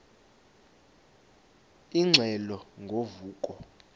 ingxelo ngo vuko